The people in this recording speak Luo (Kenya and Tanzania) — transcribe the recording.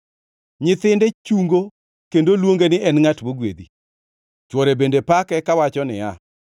Nyithinde chungo kendo luonge ni en ngʼat mogwedhi, chwore bende pake, kawacho niya,